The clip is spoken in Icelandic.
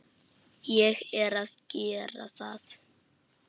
Ég er að gera það.